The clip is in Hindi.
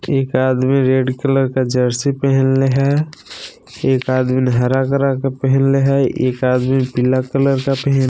एक आदमी रेड कलर का जर्सी पहीनले है एक आदमी हरा कलर का पहिनले है एक आदमी पीला कलर का पही--